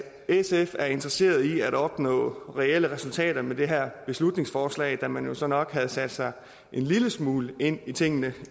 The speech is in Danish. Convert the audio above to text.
sf er interesseret i at opnå reelle resultater med det her beslutningsforslag da man jo så nok havde sat sig en lille smule ind i tingene